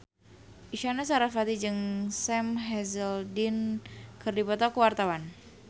Isyana Sarasvati jeung Sam Hazeldine keur dipoto ku wartawan